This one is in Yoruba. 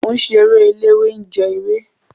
Mọ ń ṣeré eléwé ń jẹ ewé.